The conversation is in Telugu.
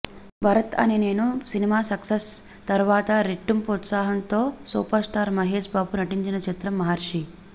భరత్ అనే నేను సినిమా సక్సెస్ తర్వాత రెట్టింపు ఉత్సాహంతో సూపర్ స్టార్ మహేష్ బాబు నటించిన చిత్రం మహర్షి